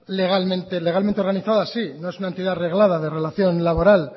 legalmente reglada de relación laboral